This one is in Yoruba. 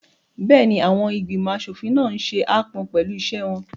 Bẹ́ẹ̀ni, àwọn ìgbìmọ̀ aṣòfin náà n ṣe aápọn pẹ̀lú iṣẹ́ wọn